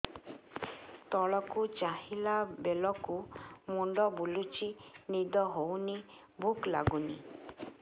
ତଳକୁ ଚାହିଁଲା ବେଳକୁ ମୁଣ୍ଡ ବୁଲୁଚି ନିଦ ହଉନି ଭୁକ ଲାଗୁନି